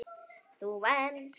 Þú venst.